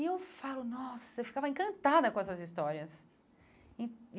E eu falo, nossa, eu ficava encantada com essas histórias.